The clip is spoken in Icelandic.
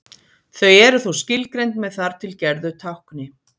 Þau eru þó skilgreind með þar til gerðu tákni.